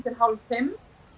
hálf fimm